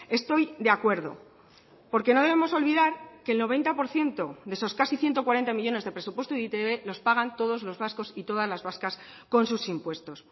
estoy de acuerdo porque no debemos olvidar que el noventa por ciento de esos casi ciento cuarenta millónes de presupuesto de e i te be los pagan todos los vascos y todas las vascas con sus impuestos